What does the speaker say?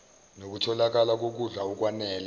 nokutholakala kokudla okwanele